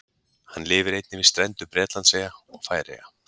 Hann lifir einnig við strendur Bretlandseyja og Færeyja.